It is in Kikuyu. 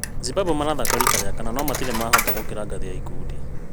Zimbabwe maraathaka rita rĩa kana no matirĩ mahota gũkĩra ngathĩ ya ikundi